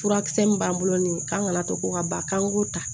Furakisɛ min b'an bolo nin ye k'an kana to ko ka ba k'an k'o ta